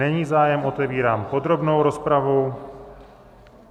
Není zájem, otevírám podrobnou rozpravu.